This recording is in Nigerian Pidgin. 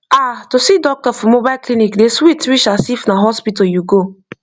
ah to see doctor for mobile clinic dey sweet reach as if na hospital you go